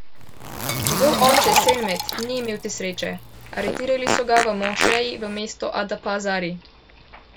Njegov oče Selmet ni imel te sreče, aretirali so ga v mošeji v mestu Adapazari.